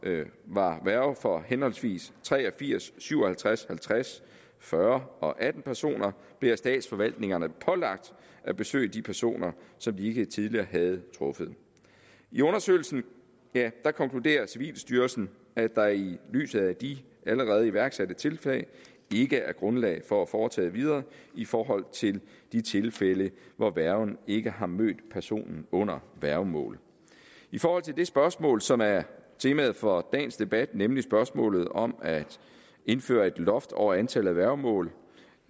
var værge for henholdsvis tre og firs syv og halvtreds halvtreds fyrre og atten personer blev af statsforvaltningerne pålagt at besøge de personer som de ikke tidligere havde truffet i undersøgelsen konkluderer civilstyrelsen at der i lyset af de allerede iværksatte tiltag ikke er grundlag for at foretage videre i forhold til de tilfælde hvor værgen ikke har mødt personen under værgemål i forhold til det spørgsmål som er temaet for dagens debat nemlig spørgsmålet om at indføre et loft over antallet af værgemål